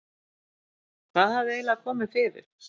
Hvað hafði eiginlega komið fyrir?